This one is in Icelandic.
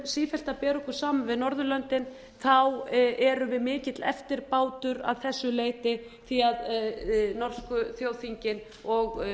sífellt að bera okkur saman við norðurlöndin erum við mikill eftirbátur að þessu leyti því norsku þjóðþingin og